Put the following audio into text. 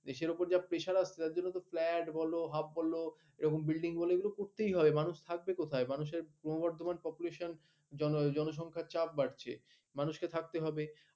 দেশের উপর যা প্রেশার হচ্ছে যার জন্য ফ্ল্যাট বলো হাব বলো এরকম বিল্ডিং বলো করতেই হবে মানুষ থাকবে কোথায় মানুষের ক্রমবর্ধমান population জনসংখ্যার চাপ বাড়ছে মানুষকে থাকতে হবে